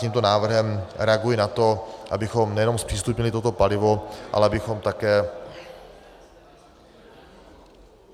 Tímto návrhem reaguji na to, abychom nejenom zpřístupnili toto palivo, ale abychom také...